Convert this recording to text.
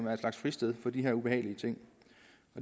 er en slags fristed for de her ubehagelige ting